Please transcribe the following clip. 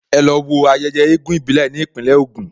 Ẹ lọ wo ayẹyẹ eégún ìbílẹ̀ ní Ìpínlẹ̀ Ògùn!